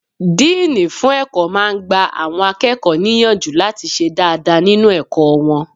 Díìnì fún ẹ̀kọ́ máa n gba àwọn akẹ́kọ̀ọ́ níyànjú láti ṣe dáadáa nínu ẹ̀kọ́ wọn